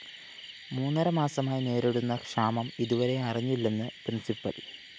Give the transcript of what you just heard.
മൂന്നര മാസമായി നേരിടുന്ന ക്ഷാമം ഇതുവരെ അറിഞ്ഞില്ലെന്ന് പ്രിന്‍സിപ്പല്‍